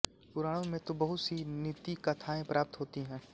पुराणों में तो बहुत सी नीतिकथायें प्राप्त होती है